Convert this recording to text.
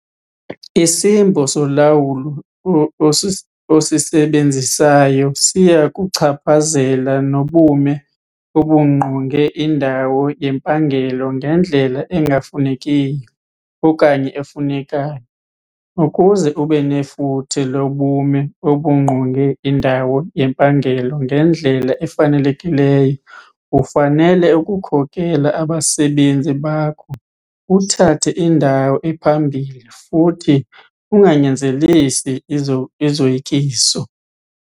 Isimbo solawulo osisebenzisayo siya kuchaphazela nobume obungqonge indawo yempangelo ngendlela engafunekiyo okanye efunekayo. Ukuze ube nefuthe lobume obungqonge indawo yempangelo ngendlela efanelekileyo ufanele ukukhokela abasebenzi bakho uthathe indawo ephambili futhi unganyanzelisi izoyikiso.